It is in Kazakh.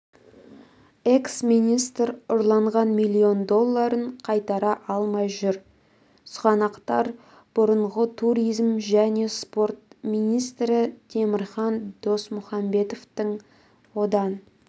экс-министр ұрланған миллион долларын қайтара алмай жүр сұғанақтар бұрынғы туризм және спорт министрі темірхан досмұхамбетовтің одан